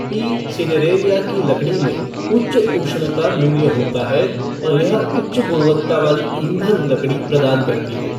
P cineraria की लकड़ी में उच्च ऊष्णता मूल्य होता है और यह उच्च गुणवत्ता वाली ईंधन लकड़ी प्रदान करती है।